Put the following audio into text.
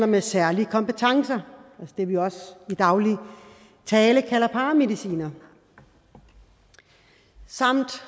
med særlige kompetencer det vi også i daglig tale kalder paramedicinere samt